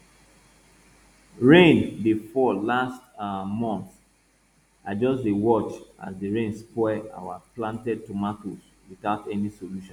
rain dey fall last um month i just dey watch as the rain spoil our planted tomatoes without any solution